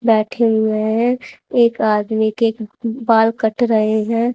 बैठे हुए है। एक आदमी के बाल कट रहे है।